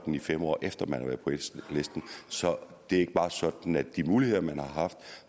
fem år efter man har været på listen så det er ikke sådan at de muligheder man har haft